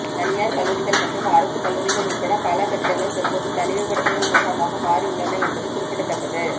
தனியார் கல்லூரிகள் மற்றும் அரசு கல்லூரிகள் உள்பட பல கட்டிடங்கள் தற்போது தனிமைப்படுத்தல் முகாமாக மாறி உள்ளன என்பது குறிப்பிடத்தக்கது